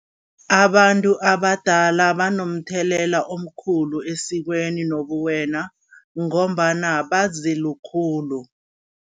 Abantu abadala banomthelela omkhulu esikweni nobuwena ngombana bazilukhulu.